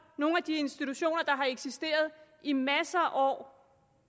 nogle af de institutioner der har eksisteret i masser af år og